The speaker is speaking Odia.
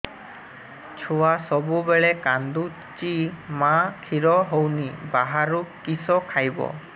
ଛୁଆ ସବୁବେଳେ କାନ୍ଦୁଚି ମା ଖିର ହଉନି ବାହାରୁ କିଷ ଖାଇବ